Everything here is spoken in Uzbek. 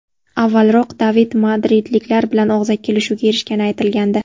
Avvalroq David madridliklar bilan og‘zaki kelishuvga erishgani aytilgandi.